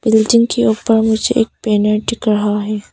Building के ऊपर मुझे एक बैनर दिख रहा है।